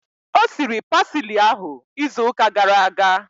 O siri pasili ahu izu ụka gara aga